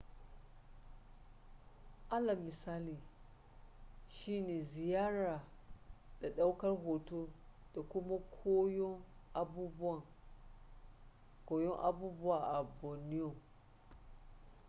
alal misali shi ne ziyara da daukar hoto da kuma koyon abubuwan a borneo